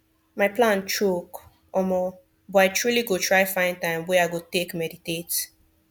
my plan choke omo but i truely go try find time wey i go take meditate